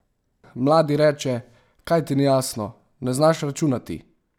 Mladi reče, kaj ti ni jasno, ne znaš računati?